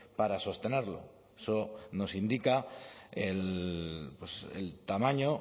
para sostenerlo eso nos indica el tamaño